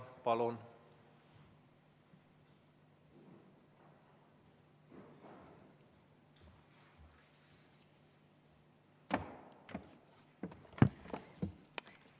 Palun!